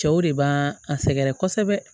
Cɛw de b'a a sɛgɛrɛ kosɛbɛ